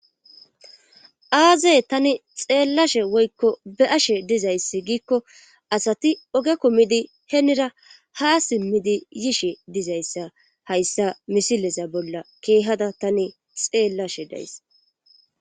aazee tani xeellashe woykko beashe dizayssi giikko asati oge kumidi henira ha simmidi yishe dizayssa hayssa misilesa bolla keehada tani xeellashe days